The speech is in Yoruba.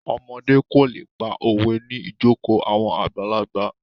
Ọmọdé kò lè pa òwe ní ìjokòó àwọn àgbàlagbà.